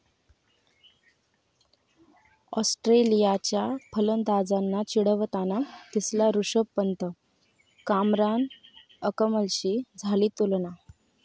ऑस्ट्रेलियाच्या फलंदाजांना चिढवताना दिसला ऋषभ पंत, कामरान अकमलशी झाली तुलना